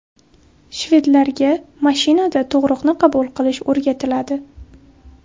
Shvedlarga mashinada tug‘uruqni qabul qilish o‘rgatiladi.